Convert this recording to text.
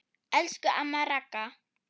Elsku amma Ragga.